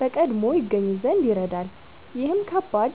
በቀድሞ ይገኙ ዘንድ ይረዳል። ይህም ከባድ